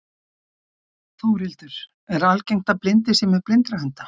Þórhildur, er algengt að blindir séu með blindrahunda?